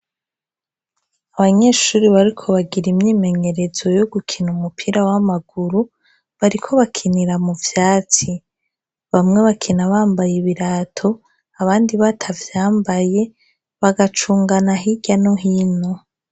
Abanyeshuri bariko bagir' imyimenyerezo yo gukin' umupira w'amaguru, bariko bakinira mu vyatsi, bamwe bakina bambay' ibirato ,abandi batavyambaye, bagacungana hirya no hino